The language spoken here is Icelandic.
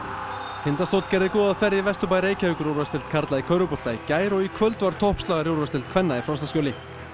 Tindastóll gerði góða ferð í Vesturbæ Reykjavíkur í úrvalsdeild karla í körfubolta í gær og í kvöld var toppslagur í úrvalsdeild kvenna í Frostaskjóli